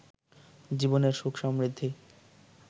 জীবনের সুখ সমৃদ্ধি